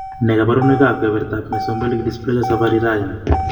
Nee kabarunoikab kebertab Mesomelic dysplasia Savarirayan ?